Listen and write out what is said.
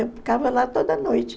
Eu ficava lá toda noite.